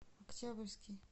октябрьский